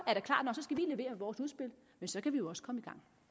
skal levere vores udspil men så kan vi jo også komme